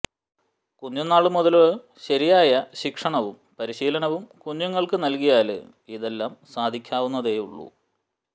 കുഞ്ഞുന്നാള് മുതല് ശരിയായ ശിക്ഷണവും പരിശീലനവും കുഞ്ഞുങ്ങള്ക്കു നല്കിയാല് ഇതെല്ലാം സാധിക്കാവുന്നതേയുള്ളു